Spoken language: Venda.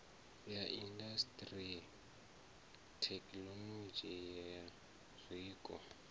ya indasiṱiri thekinolodzhi ya zwiko